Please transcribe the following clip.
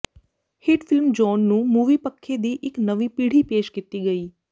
hit film John ਨੂੰ movie ਪੱਖੇ ਦੀ ਇੱਕ ਨਵੀਂ ਪੀੜ੍ਹੀ ਪੇਸ਼ ਕੀਤੀ ਗਈ